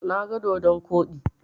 Na ga dodon koɗi.